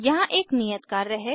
यहाँ एक नियत कार्य है